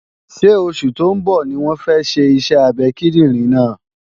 Ṣé oṣù tó ń bọ̀ ní wọ́n fẹ́ ṣe iṣẹ́ abẹ kíndìnrín náà?